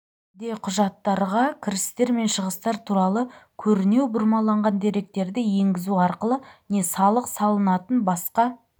де кұжаттарға кірістер мен шығыстар туралы көрінеу бұрмаланған деректерді енгізу аркылы не салық салынатын басқа